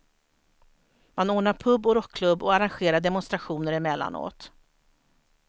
Man ordnar pub och rockklubb och arrangerar demonstrationer emellanåt.